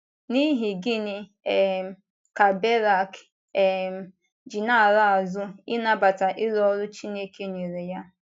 N’ihi gịnị um ka Berak um ji na - ala azụ, ịnabata iru ọrụ Chineke nyere ya?